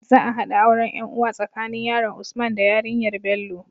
Za a haɗa auren yan uwa tsaka nanin yaron usman da yarinyar Bello